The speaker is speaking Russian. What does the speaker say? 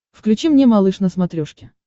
включи мне малыш на смотрешке